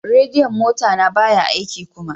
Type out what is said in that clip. Radiyon mota na baya aiki kuma.